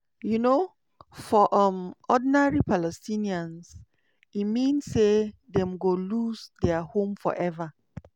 um for um ordinary palestinians e mean say dem go lose dia home forever.